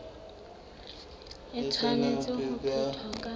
e tshwanetse ho phethwa ka